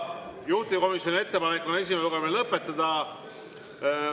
Juhtivkomisjoni ettepanek on esimene lugemine lõpetada.